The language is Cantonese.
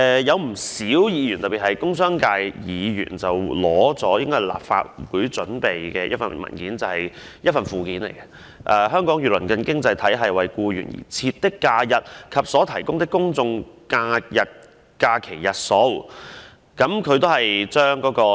有不少議員——特別是工商界議員——引述一份由立法會擬備的資料文件的附件，題為"香港與鄰近經濟體系為僱員而設的假日及所提供的公眾假期日數"。